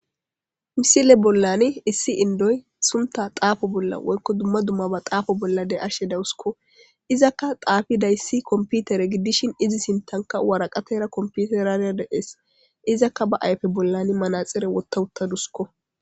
misile bollani issi indoy sunta xaafo bolla woykko dumma dumma ba xaafo bollade ashe dawuskko izakka xaafi dayssi komputere giddishin izi sintanka waraqatera komputerara deees izakka ba ayfe bollani manaxire wottawuttadusko